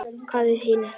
Hvað eru hinir þá?